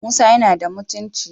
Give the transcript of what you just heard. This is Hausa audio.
Musa yana da mutunci